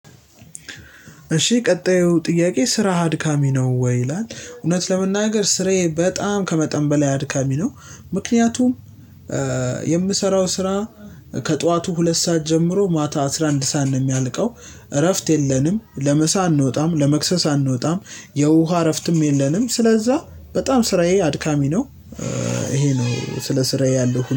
እሺ ቀጣዩ ጥያቄ ስራ አድካሚ ነው ወይ? ይላል እውነት ለመናገር ስራዬ በጣም ከመጠን በላይ አድካሚ ነው። ምክንያቱም የምሰራው ስራ ከጠዋቱ ሁለት ሰዓት ጀምሮ ማታ አስራ አንድ ሰዓት ነው የሚያልቀው። እረፍት የለንም ለምሳ አንወጣም ለመክሰስ አንወጣም የውሃ እረፍትም የለንም። ስለዛ በጣም ስራዬ አድካሚ ነው። ይሄ ነው ስለ ስራዬ ያለው